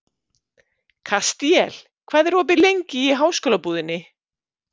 Kastíel, hvað er opið lengi í Háskólabúðinni?